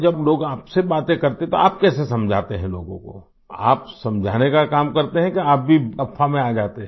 जब लोग आपसे बातें करते है तो आप कैसे समझाते है लोगों को आप समझाने का काम करते है कि आप भी अफ़वाह में आ जाते हैं